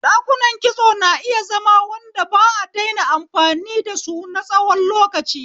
Dakunan kitso na iya zama wanda ba a daina amfani da su na tsawon lokaci.